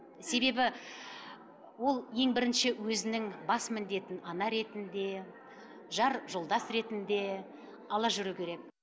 себебі ол ең бірінші өзінің бас міндетін ана ретінде жар жолдас ретінде ала жүруі керек